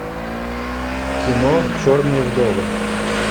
кино черные вдовы